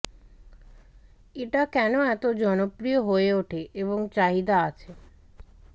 এটা কেন এত জনপ্রিয় হয়ে ওঠে এবং চাহিদা আছে